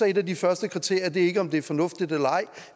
et af de første kriterier derfor ikke om det er fornuftigt eller ej